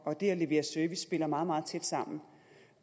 og det at levere service spiller meget meget tæt sammen og